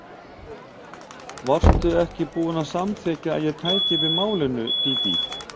Varstu ekki búin að samþykkja að ég tæki við málinu, Dídí?